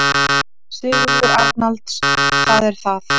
Sigurður Arnalds: Það er það.